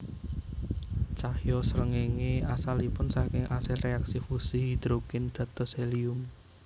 Cahya srengéngé asalipun saking asil réaksi fusi hidrogen dados helium